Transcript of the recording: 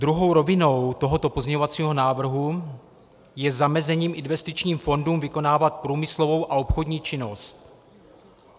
Druhou rovinou tohoto pozměňovacího návrhu je zamezení investičním fondům vykonávat průmyslovou a obchodní činnost.